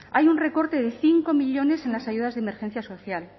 hay un recorte de cinco millónes en las ayudas de emergencia social